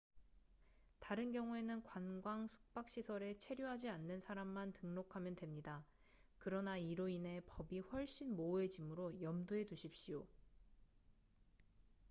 다른 경우에는 관광 숙박 시설에 체류하지 않는 사람만 등록하면 됩니다 그러나 이로 인해 법이 훨씬 모호해지므로 염두해두십시오